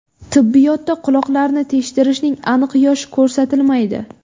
Tibbiyotda quloqlarni teshdirishning aniq yoshi ko‘rsatilmaydi.